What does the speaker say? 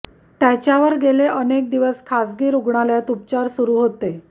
त्याच्यावर गेले अनेक दिवस खाजगी रुग्णालयात उपचार सुरु होते